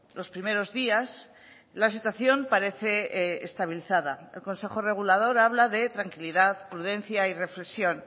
los primeros días la situación parece estabilizada el consejo regulador habla de tranquilidad prudencia y reflexión